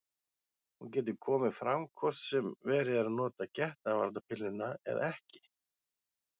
Hún getur komið fram hvort sem verið er að nota getnaðarvarnarpilluna eða ekki.